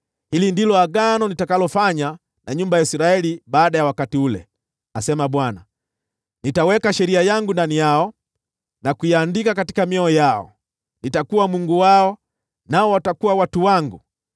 “Hili ndilo agano nitakalofanya na nyumba ya Israeli baada ya siku zile,” asema Bwana . “Nitaweka sheria yangu katika nia zao, na kuiandika mioyoni mwao. Nitakuwa Mungu wao, nao watakuwa watu wangu.